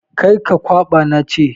Kar ka kwaɓa na ce!